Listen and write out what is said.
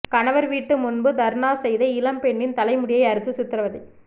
கணவர் வீட்டு முன்பு தர்ணா செய்த இளம்பெண்ணின் தலைமுடியை அறுத்து சித்ரவதை